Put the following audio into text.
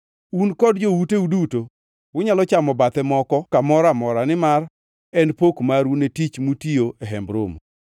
Un kod jouteu duto unyalo chamo bathe moko kamoro amora, nimar en pok maru ne tich mutiyo e Hemb Romo.